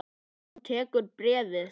Hann tekur bréfið.